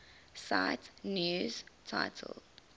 cite news title